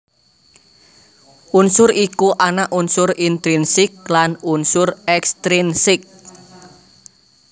Unsur iku ana unsur intrinsik lan unsur ekstrinsik